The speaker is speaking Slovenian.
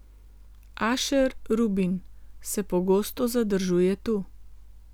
Ašer Rubin se pogosto zadržuje tu.